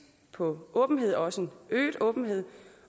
på åbenhed også øget åbenhed